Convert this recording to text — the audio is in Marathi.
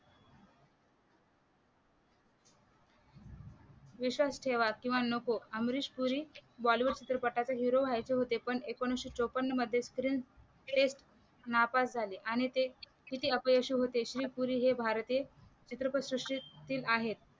विश्वास ठेवाल किंवा नको अमरीश पुरी bollywood चित्रपटचे हिरो व्हायचे होते पण एकोणविशे चोपन्न मध्ये प्रिन्स ते नापास झाले आणि ते किती अपयशी होते अमरीश पुरी हे भारतीय चित्रपटसृष्टी त तील आहे